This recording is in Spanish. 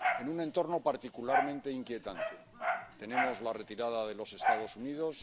En un entorno particularmente inquietante tenemos la retirada de los Estados Unidos